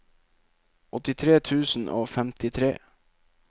åttitre tusen og femtitre